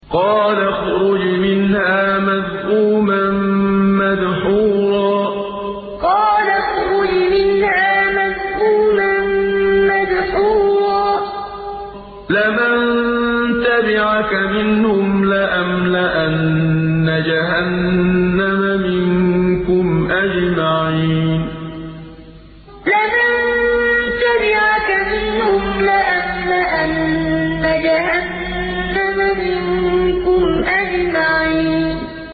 قَالَ اخْرُجْ مِنْهَا مَذْءُومًا مَّدْحُورًا ۖ لَّمَن تَبِعَكَ مِنْهُمْ لَأَمْلَأَنَّ جَهَنَّمَ مِنكُمْ أَجْمَعِينَ قَالَ اخْرُجْ مِنْهَا مَذْءُومًا مَّدْحُورًا ۖ لَّمَن تَبِعَكَ مِنْهُمْ لَأَمْلَأَنَّ جَهَنَّمَ مِنكُمْ أَجْمَعِينَ